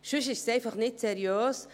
Sonst wäre es einfach nicht seriös.